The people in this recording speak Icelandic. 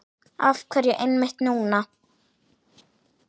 Af hverju einmitt núna?